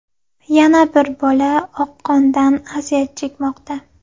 Yana bir bola oqqondan aziyat chekmoqda.